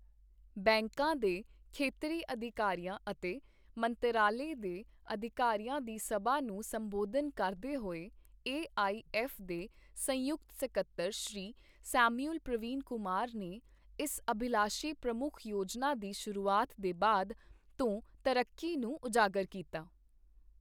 ਬੈਂਕਾਂ ਦੇ ਖੇਤਰੀ ਅਧਿਕਾਰੀਆਂ ਅਤੇ ਮੰਤਰਾਲੇ ਦੇ ਅਧਇਕਾਰੀਆਂ ਦੀ ਸਭਾ ਨੂੰ ਸੰਬੋਧਨ ਕਰਦੇ ਹੋਏ ਏ ਆਈ ਐੱਫ ਦੇ ਸੰਯੁਕਤ ਸਕੱਤਰ ਸ਼੍ਰੀ ਸੈਮੂਅਲ ਪ੍ਰਵੀਨ ਕੁਮਾਰ ਨੇ ਇਸ ਅਭਿਲਾਸ਼ੀ ਪ੍ਰਮੁੱਖ ਯੋਜਨਾ ਦੀ ਸ਼ੁਰੂਆਤ ਦੇ ਬਾਅਦ ਤੋਂ ਤਰੱਕੀ ਨੂੰ ਉਜਾਗਰ ਕੀਤਾ।